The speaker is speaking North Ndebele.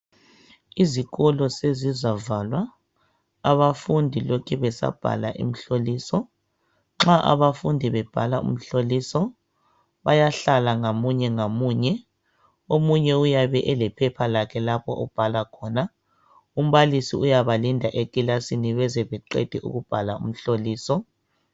Izikolo sezizavalwa. Abafundi lokhe besabhala imihloliso. Nxa abafundi bebhala umhloliso, bayahlala ngamunye ngamunye. Omunye uyabe elephepha lakhe lapha babhala khona. Umbalisi uyabalinda ekilasini beze beqede ukubhala umhloliso.